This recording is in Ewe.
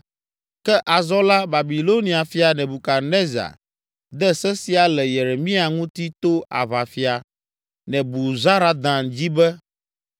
Ke azɔ la Babilonia fia, Nebukadnezar, de se sia le Yeremia ŋuti to aʋafia Nebuzaradan dzi be,